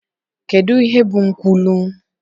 Kedu ihe bụ nkwulu?